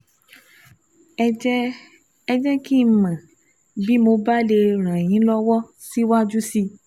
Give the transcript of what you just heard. Ẹ jẹ́ Ẹ jẹ́ kí n mọ̀ bí mo bá lè ràn yín lọ́wọ́ síwájú sí i